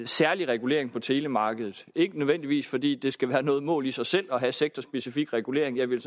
særlig regulering af telemarkedet det ikke nødvendigvis fordi det skal være noget mål i sig selv at have sektorspecifik regulering jeg ville